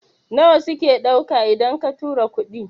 nawa suke dauka idan ka tura kuɗi?